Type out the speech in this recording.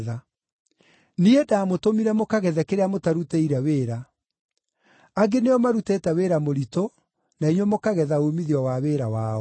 Niĩ ndaamũtũmire mũkagethe kĩrĩa mũtarutĩire wĩra. Angĩ nĩo marutĩte wĩra mũritũ, na inyuĩ mũkagetha uumithio wa wĩra wao.”